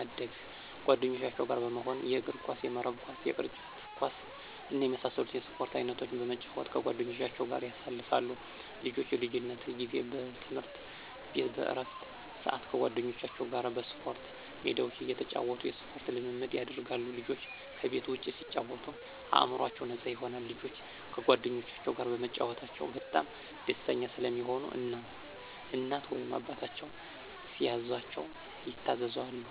አደግ ጓደኞቻቸው ጋር በመሆን የእግርኳስ፣ የመረብ ኳስ፣ የቅርጫት ኳስ እና የመሳሰሉትን የስፖርት አይነቶች በመጫወት ከጓደኞቻቸው ጋር ያሳልፋሉ። ልጆች የልጅነት ጊዜ በትምህርት ቤት በእረፍት ስአት ከጓደኞቻቸው ጋር በስፖርት ሜዳቸው እየተጫወቱ የስፖርት ልምምድ ያደርጋሉ። ልጆች ከቤት ውጭ ሲጫወቱ አእምሮአቸው ነፃ ይሆናል። ልጆች ከጓደኞቻቸው ጋር በመጫወታቸው በጣም ደስተኛ ስለሚሆኑ እናት ወይም አባታቸው ሲያዛቸው ይታዘዛሉ።